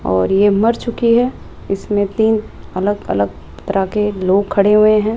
और ये मर चुकी है इसमें तीन अलग अलग तरह के लोग खड़े हुए हैं।